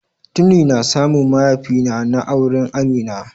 Tuni na samu mayafina na, na auren Amina.